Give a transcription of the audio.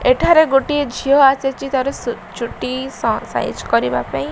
ଏଠାରେ ଗୋଟିଏ ଝିଅ ଆସିଛି ତାର ଚୁଟି ସାଇଜ କରିବା ପାଇଁ।